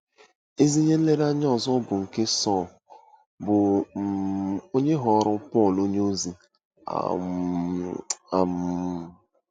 Ezi ihe nlereanya ọzọ bụ nke Sọl, bụ́ um onye ghọrọ Pọl onyeozi um. um